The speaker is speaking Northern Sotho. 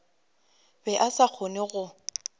be a sa kgone go